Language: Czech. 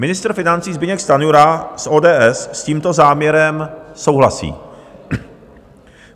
Ministr financí Zbyněk Stanjura z ODS s tímto záměrem souhlasí.